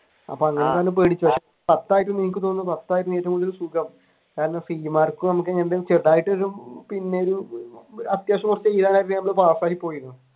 പത്തായി കഴിയുമ്പോൾ നിങ്ങൾക്ക് തോന്നും പത്തായിരുന്നു ഏറ്റവും കൂടുതൽ സുഖം കാരണം സി മാർക്ക് പിന്നെ ഈ അത്യാവശ്യം കുറച്ചൊക്കെ പാസ്സായി പോയിരുന്നു.